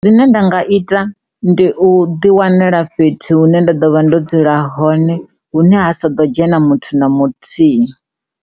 Zwine nda nga ita ndi u ḓi wanela fhethu hune nda ḓo vha ndo dzula hone hune ha sa ḓo dzhena muthu na muthihi.